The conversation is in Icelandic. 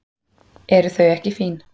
Eru þau ekki fín?